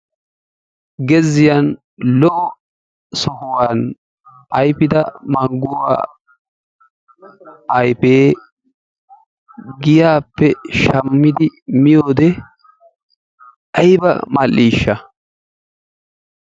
Gezziyan lo"o sohuwan ayfida mangguwa ayfee giyaappe shammidi miyode ayba mal"iishsha!